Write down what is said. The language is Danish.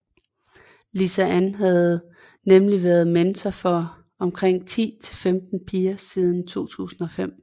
Lisa Ann havde nemlig været mentor for omkring 10 til 15 piger siden 2005